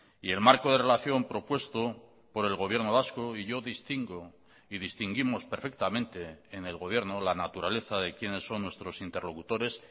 y el marco de relación propuesto por el gobierno vasco y yo distingo y distinguimos perfectamente en el gobierno la naturaleza de quiénes son nuestros interlocutores